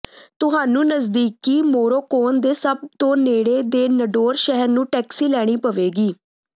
ਤੁਹਾਨੂੰ ਨਜ਼ਦੀਕੀ ਮੋਰੋਕੋਨ ਦੇ ਸਭ ਤੋਂ ਨੇੜੇ ਦੇ ਨਡੋਰ ਸ਼ਹਿਰ ਨੂੰ ਟੈਕਸੀ ਲੈਣੀ ਪਵੇਗੀ